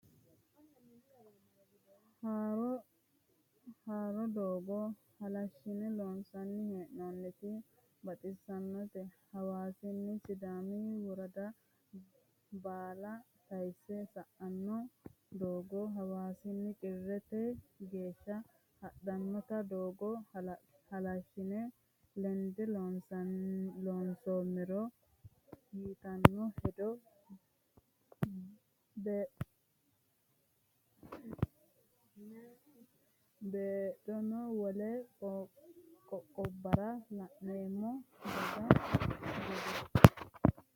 Haaro doogo halashine loonsanni hee'nonniti baxisanote, hawaasini sidaami woradda baalla tayse sa"ano doogo hawaasini cirrete geeshsha hadhanotta togo halashine lende loonsomero ytano hedo beedhanoe wole qoqqobbara la'neemmo dooga gede.